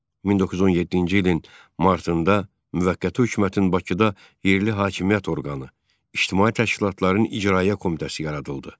1917-ci ilin martında müvəqqəti hökumətin Bakıda yerli hakimiyyət orqanı İctimai təşkilatların icraiyyə komitəsi yaradıldı.